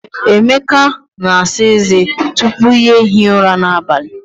Emeka na-asa eze tupu ya ehie ụra n'abalị.